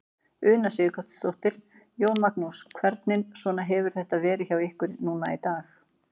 Una Sighvatsdóttir: Jón Magnús, hvernig svona hefur þetta verið hjá ykkur núna í dag?